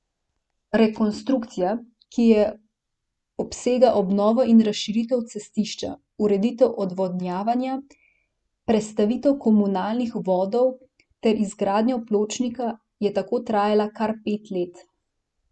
Rekonstrukcija, ki je obsega obnovo in razširitev cestišča, ureditev odvodnjavanja, prestavitev komunalnih vodov ter izgradnjo pločnika, je tako trajala kar pet let.